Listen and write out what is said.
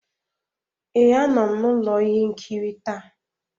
Ee, a nọ m na ụlọ ihe nkiri taa.